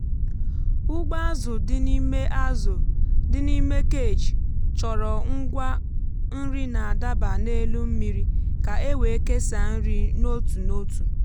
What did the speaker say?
ụgbọ azụ dị n'ime azụ dị n'ime cage chọrọ ngwa nri na-adaba n’elu mmiri ka e wee kesaa nri n’otu n’otu.